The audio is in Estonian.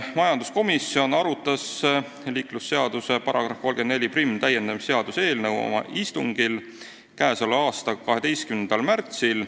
Majanduskomisjon arutas liiklusseaduse § 341 täiendamise seaduse eelnõu oma istungil k.a 12. märtsil.